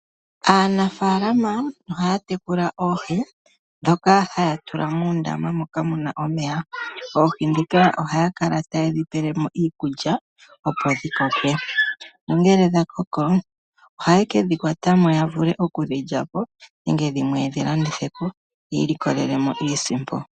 Aanafaalama ohaya tekula oohi ndhoka ha ya tula muundama moka mu na omeya. Oohi ndhika oha ye dhi pele mo iikulya opo dhi koke. Ngele dha koko oha ye dhi kwata ya vule oku dhi lya po nenge dhimwe ta ya landitha opo yi ilikolele mo iisimpo.